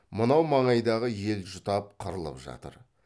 мынау маңайдағы ел жұтап қырылып жатыр